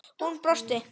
Hún brosti.